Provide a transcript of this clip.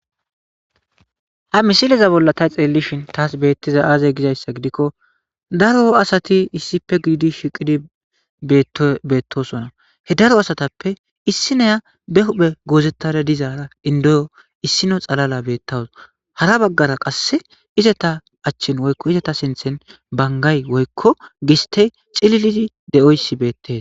Ha misileza bolla ta xeellishin taas beettiza aazey gizayssa gidikko daro asati issippe giidi shiqidi beettosona he daro asatappe issineya be huphe goozettada dizaara indoyo issino xalala beettawus hara baggara qasse izeta achchin woykko izeta sinthen bangay woykko giste cililidi de7oyssi beettes.